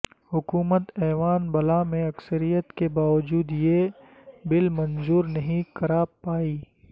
حکومت ایوان بالا میں اکثریت کے باوجود یہ بل منظور نہیں کرا پائی